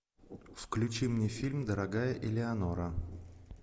включи мне фильм дорогая элеонора